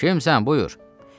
“Kimsən, buyur”.